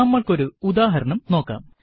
നമ്മൾക്ക് ഒരു ഉദാഹരണം നോക്കാം